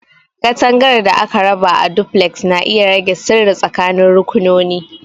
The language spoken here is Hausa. Katangar da aka raba a Duplex na iya rage sirri tsakanin rakunoni.